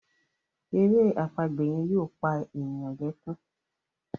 èrè àpagbè yen yóò pá ènìyàn lè kún.